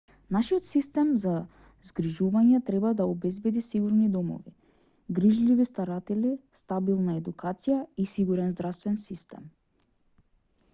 нашиот систем за згрижување треба да обезбеди сигурни домови грижливи старатели стабилна едукација и сигурен здравствен систем